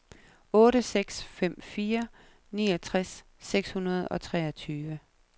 otte seks fem fire niogtres seks hundrede og treogtyve